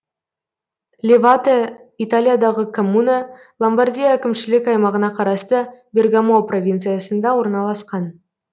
левате италиядағы коммуна ломбардия әкімшілік аймағына қарасты бергамо провинциясында орналасқан